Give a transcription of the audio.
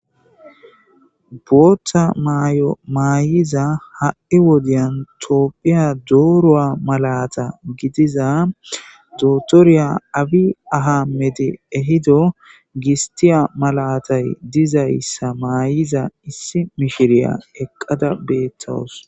Bootha may7o maayiza ha7i wodiyan toophiya dooroa malata gidiza dotorya awi ahamedi ehido gistiya malatay dizayssa maayiza issi mishiriya eqqada beettawos.